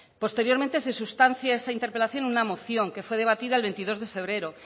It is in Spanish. posteriormente se sustancia esa interpelación en una moción que fue debatida el veintidós de febrero